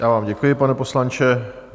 Já vám děkuji, pane poslanče.